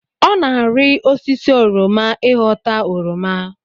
Ọ na-ari osisi oroma ịghọta oroma